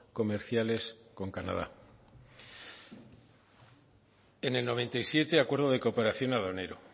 comerciales con canadá en el noventa y siete acuerdo de cooperación aduanero